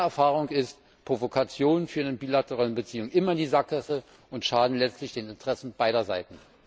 Meine Erfahrung ist Provokation führt eine bilaterale Beziehung immer in die Sackgasse und schadet letztlich den Interessen beider Seiten.